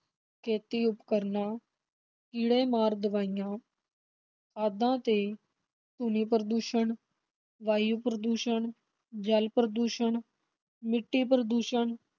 ਖੇਤੀ ਉਪਕਰਨਾਂ, ਕੀੜੇ-ਮਾਰ ਦਵਾਈਆਂ ਖਾਦਾਂ ਤੇ ਧੁਨੀ-ਪ੍ਰਦੂਸ਼ਣ, ਵਾਯੂ ਪ੍ਰਦੂਸ਼ਣ, ਜਲ ਪ੍ਰਦੂਸ਼ਣ, ਮਿੱਟੀ ਪ੍ਰਦੂਸ਼ਣ